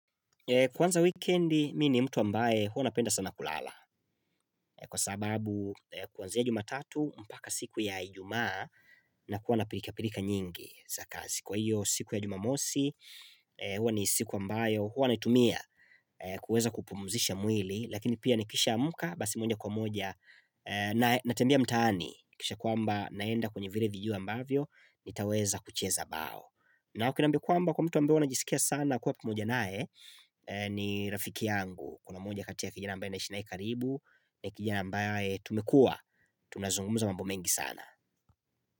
Kwanza wikendi mimi ni mtu ambaye huwa napenda sana kulala kwa sababu kuanzia jumatatu mpaka siku ya ijumaa nakuwa na pilka pilka nyingi za kazi. Kwa hiyo siku ya jumamosi huwa ni siku ambayo huwa naitumia kuweza kupumuzisha mwili lakini pia nikisha amka basi niende kwa moja natembea mtaani nahakikisha kwamba naenda kwenye vile vijua ambavyo nitaweza kucheza bao. Na ukiniambia kwamba kuna mtu ambeye unajisikia sana kuwa pamoja naye ni rafiki yangu Kuna mmoja kati ya kijana mbaye naishi naye karibu ni kijana mbaye tumekuwa tunazungumza mambo mengi sana.